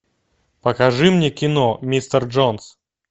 покажи мне кино мистер джонс